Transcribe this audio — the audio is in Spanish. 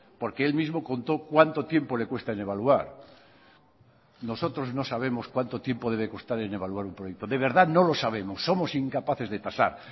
porque él mismo contó cuánto tiempo le cuesta en evaluar nosotros no sabemos cuánto tiempo debe costar en evaluar un proyecto de verdad no lo sabemos somos incapaces de tasar